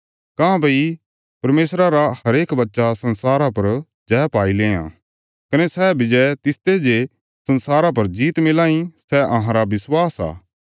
काँह्भई परमेशरा रा हरेक बच्चा संसारा पर जय पाई लेआं कने सै विजय तिसते जे संसारा पर जीत मिलां इ सै अहांरा विश्वास आ